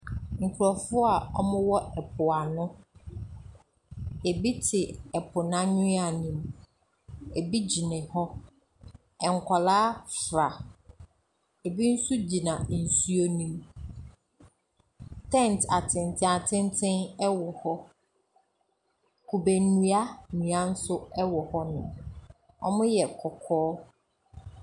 Nkurɔfoɔ a wɔwɔ po ano. Ebi te po no anwea no mu. Ebi gyina hɔ. Nkwadaa fra . Ebi nso gyina nsuo no mu. Tent atentenatenten wɔ hɔ. Kube nnua nnua nso wɔ hɔnom. Wɔyɛ kɔkɔɔ.